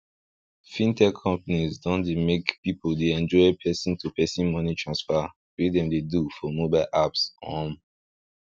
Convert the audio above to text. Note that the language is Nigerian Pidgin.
fintech companies don dey make pipu dey enjoy person to person money transfer wey dem do for mobile apps um